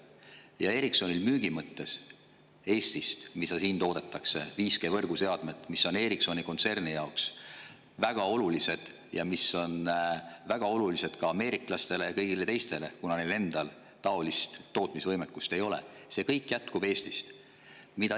Ja Ericssoni müügi mõttes 5G võrguseadmed, mida siin Eestis toodetakse, mis on Ericssoni kontserni jaoks väga olulised ja mis on väga olulised ka ameeriklastele ja kõigile teistele, kuna neil endal sellist tootmisvõimekust ei ole – see kõik jätkub Eestis.